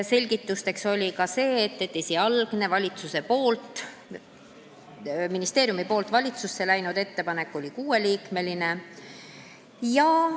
Selgituseks oli ka see, et esialgne ministeeriumist valitsusse läinud ettepanek oli kuus liiget.